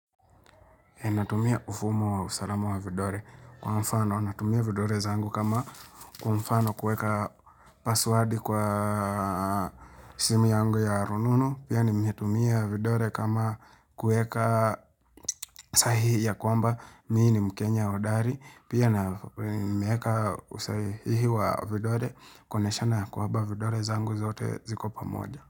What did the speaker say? Natumia ufumo wa usalama wa vidole. Kwa mfano, natumia vidole zangu kama kwa mfano kuweka paswadi kwa simu yangu ya rununu. Pia nimetumia vidole kama kuweka sahihi ya kwamba. Mimi ni mkenya hodari. Pia nimetumia usahihi wa vidole kuonyeshana ya kwamba vidole zangu zote ziko pamoja.